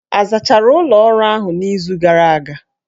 A zachara ụlọ ọrụ ahụ n'izu gara aga?